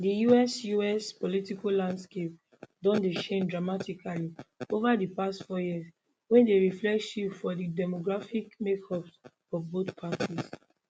di us us political landscape don dey change dramatically ova di past four years wey dey reflect shifts for di demographic makeups of both parties